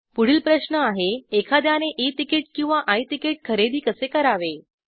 पुढील प्रश्न आहे एखाद्याने ई तिकीट किंवा आय तिकीट खरेदी कसे करावे